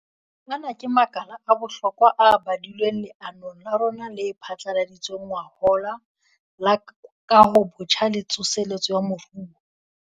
Ana ke makala a bohlokwa a badilweng leanong la rona le phatlaladitsweng ngwahola la Kahobotjha le Tsoseletso ya Moruo.